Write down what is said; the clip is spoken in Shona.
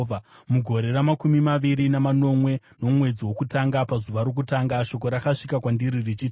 Mugore ramakumi maviri namanomwe, nomwedzi wokutanga pazuva rokutanga, shoko rakasvika kwandiri richiti,